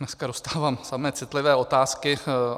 Dneska dostávám samé citlivé otázky.